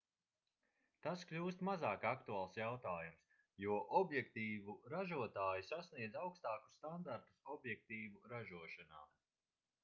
tas kļūst mazāk aktuāls jautājums jo objektīvu ražotāji sasniedz augstākus standartus objektīvu ražošanā